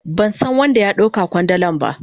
Ban san wan da ya dau ka kwandalan ba.